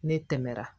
Ne tɛmɛna